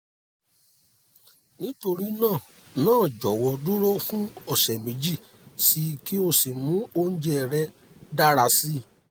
nítorí náà náà jọ̀wọ́ dúró fún ọ̀sẹ̀ méjì síi kí o sì mú oúnjẹ rẹ dára si